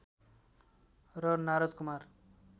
र नारद कुमार